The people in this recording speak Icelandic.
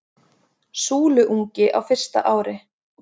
Súluungi á fyrsta ári.